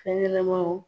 Fɛn ɲɛnɛmanw